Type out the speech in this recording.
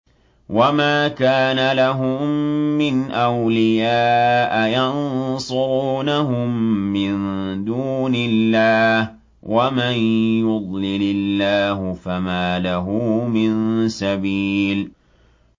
وَمَا كَانَ لَهُم مِّنْ أَوْلِيَاءَ يَنصُرُونَهُم مِّن دُونِ اللَّهِ ۗ وَمَن يُضْلِلِ اللَّهُ فَمَا لَهُ مِن سَبِيلٍ